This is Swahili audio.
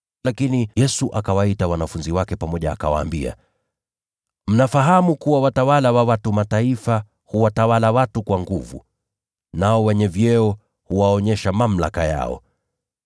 Lakini Yesu akawaita wote pamoja na kuwaambia, “Mnafahamu kuwa wale wanaodhaniwa kuwa watawala wa watu wa Mataifa huwatawala watu kwa nguvu, nao wenye vyeo huonyesha mamlaka yao.